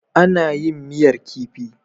Ana yin miyar kifi.